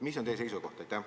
Mis on teie seisukoht?